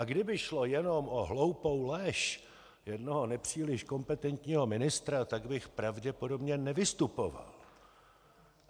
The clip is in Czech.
A kdyby šlo jenom o hloupou lež jednoho nepříliš kompetentního ministra, tak bych pravděpodobně nevystupoval.